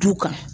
Du kan